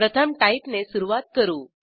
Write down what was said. प्रथम टाइप ने सुरूवात करू